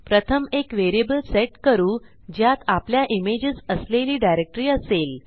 प्रथम एक variable set करू ज्यात आपल्या इमेजेस असलेली डायरेक्टरी असेल